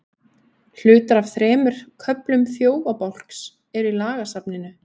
hlutar af þremur köflum þjófabálks eru í lagasafninu